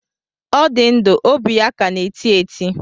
Ọ dị ndụ, óbị ya ka na-eti eti